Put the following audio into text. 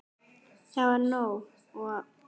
Það var nóg. og.